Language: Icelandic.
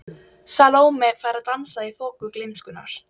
Salóme fær að dansa í þoku gleymskunnar.